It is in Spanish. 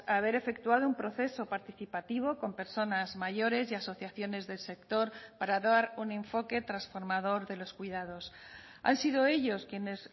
haber efectuado un proceso participativo con personas mayores y asociaciones del sector para dar un enfoque transformador de los cuidados han sido ellos quienes